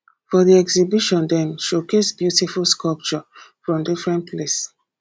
for di exhibition dem showcase beautiful sculpture from differen place